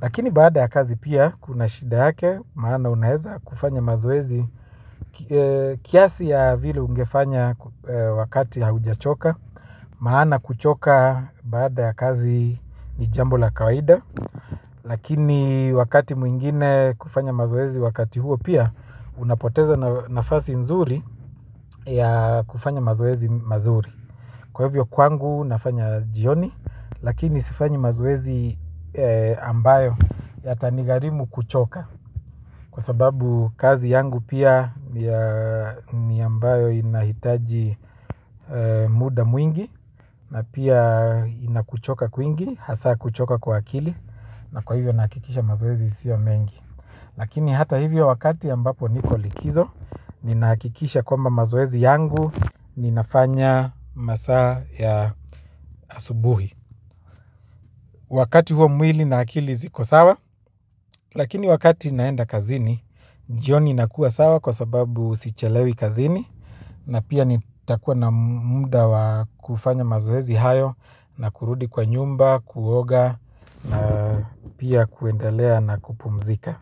Lakini baada ya kazi pia kuna shida yake. Maana unaeza kufanya mazoezi. Kiasi ya vile ungefanya wakati haujachoka. Maana kuchoka baada ya kazi ni jambo la kawaida. Lakini wakati mwingine kufanya mazoezi wakati huo pia unapoteza nafasi nzuri ya kufanya mazoezi mazuri, kwa hivyo kwangu nafanya jioni. Lakini sifanyi mazoezi ambayo yatanigarimu kuchoka. Kwa sababu kazi yangu pia ni ambayo inahitaji muda mwingi. Na pia inakuchoka kwingi hasa kuchoka kwa akili. Na kwa hivyo nahakikisha mazoezi sio mengi. Lakini hata hivyo wakati ambapo niko likizo. Ninahakikisha kwamba mazoezi yangu, ninafanya masaa ya asubuhi. Wakati huo mwili na akili ziko sawa. Lakini wakati naenda kazini jioni nakua sawa kwa sababu sichelewi kazini. Na pia nitakua na muda wa kufanya mazoezi hayo. Na kurudi kwa nyumba, kuoga. Na pia kuendelea na kupumzika.